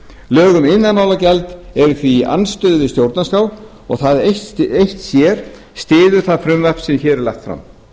um iðnaðarmálagjald eru því í andstöðu við stjórnarskrá og það eitt sér styður það frumvarp sem hér er lagt fram